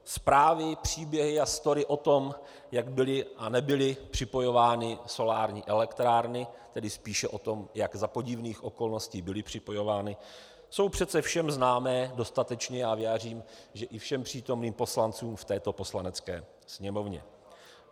Zprávy, příběhy a story o tom, jak byly a nebyly připojovány solární elektrárny, tedy spíše o tom, jak za podivných okolností byly připojovány, jsou přece všem známé dostatečně a věřím, že i všem přítomným poslancům v této Poslanecké sněmovně.